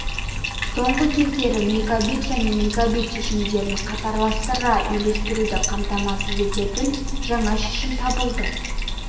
соңғы кездерде мегабит және мегабит шешімдерін қатарластыра үйлестіруді қамтамасыз ететін жаңа шешім табылды